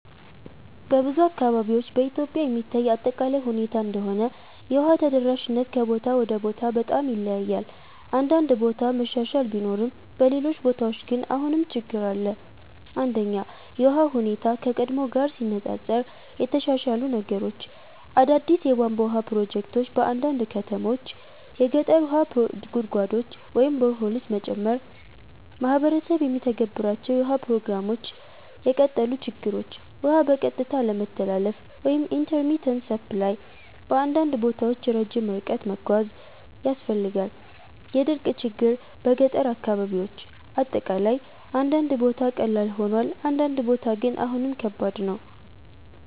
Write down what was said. በብዙ አካባቢዎች (በኢትዮጵያ የሚታይ አጠቃላይ ሁኔታ እንደሆነ) የውሃ ተደራሽነት ከቦታ ወደ ቦታ በጣም ይለያያል። አንዳንድ ቦታ መሻሻል ቢኖርም በሌሎች ቦታዎች ግን አሁንም ችግኝ አለ። 1) የውሃ ሁኔታ (ከቀድሞ ጋር ሲነፃፀር) የተሻሻሉ ነገሮች አዳዲስ የቧንቧ ውሃ ፕሮጀክቶች በአንዳንድ ከተሞች የገጠር ውሃ ጉድጓዶች (boreholes) መጨመር ማህበረሰብ የሚተገበሩ የውሃ ፕሮግራሞች የቀጠሉ ችግኞች ውሃ በቀጥታ አለመተላለፍ (intermittent supply) በአንዳንድ ቦታ ረጅም ርቀት መጓዝ ያስፈልጋል የድርቅ ችግኝ በገጠር አካባቢ አጠቃላይ አንዳንድ ቦታ ቀላል ሆኗል፣ አንዳንድ ቦታ ግን አሁንም ከባድ ነው።